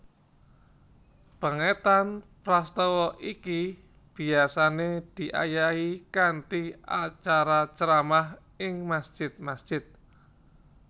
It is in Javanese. Pèngetan prastawa iki biasané diayahi kanthi acara ceramah ing masjid masjid